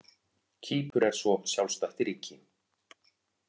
Kýpur er svo sjálfstætt ríki.